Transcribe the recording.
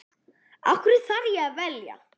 Af hverju þarf ég að velja?